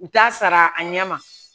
U t'a sara a ɲɛ ma